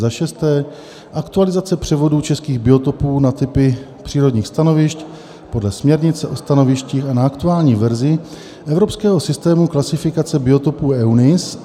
Za šesté, aktualizace převodů českých biotopů na typy přírodních stanovišť podle směrnice o stanovištích a na aktuální verzi evropského systému klasifikace biotopů EUNIS.